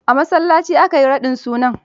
A masallaci aka yi raɗin sunan?